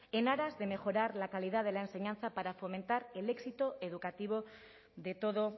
en aras de mejorar la calidad de la enseñanza para fomentar el éxito educativo de todo